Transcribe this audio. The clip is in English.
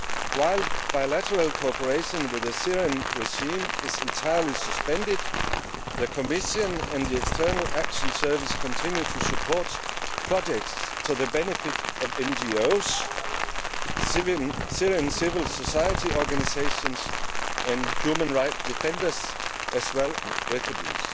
While bilateral cooperation with the Syrian regime is entirely suspended, the Commission and the External Action Service continue to support projects to the benefit of NGOs, Syrian civil society organisations and human rights defenders, as well as Palestinian refuges.